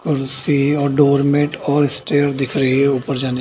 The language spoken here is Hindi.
कुर्सी और डोरमैट (doormat) और स्टेयर दिख रही है ऊपर जाने --